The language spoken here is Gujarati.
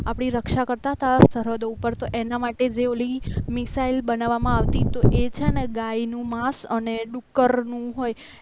આપણી રક્ષા કરતા હતા સરહદ ઉપર તો એના માટે ઓલી જે મિસાઈલ બનાવવામાં આવતી તો એ છે ને ગાયનું માસ અને હોય